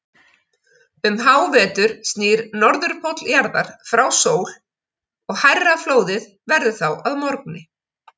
Um hávetur snýr Norðurpóll jarðar frá sól og hærra flóðið verður þá að morgni.